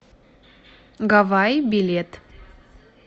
гаваи билет